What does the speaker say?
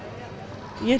ég